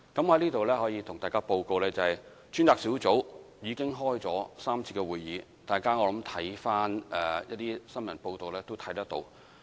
我在這裏可以向大家報告，專責小組已經開了3次會議，大家在新聞報道都可以看到。